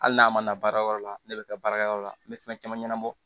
Hali n'a ma na baarakɛyɔrɔ la ne bɛ taa baarakɛyɔrɔ la n bɛ fɛn caman ɲɛnabɔ